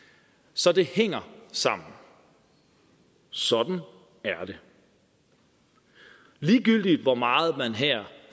så det hænger sammen sådan er det ligegyldigt hvor meget man her